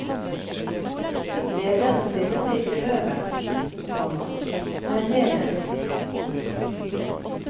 Lederen stiller seg ikke øverst, komma men nederst. punktum